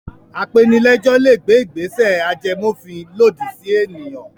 Apenilẹ́jọ́ le gbé ìgbésẹ̀ ajẹmófin lòdì sí ènìyàn.